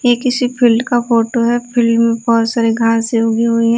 ये किसी फील्ड का फोटो है फील्ड में बहुत सारे घास उगी हुई है।